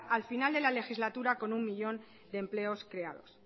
al final de la legislatura con un millón de empleos creados